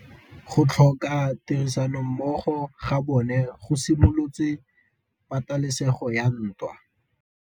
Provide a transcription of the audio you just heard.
Go tlhoka tirsanommogo ga bone go simolotse patêlêsêgô ya ntwa.